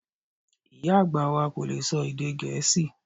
Ìyá àgbà wa kò lè sọ èdè Gẹ̀ẹ́sì